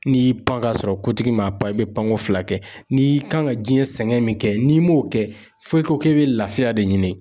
N'i y'i pan k'a sɔrɔ kotigi m'a pan i bɛ panko fila kɛ n'i kan ka diɲɛ sɛgɛn min kɛ n'i m'o kɛ fɔ i ko k'i bɛ lafiya de ɲini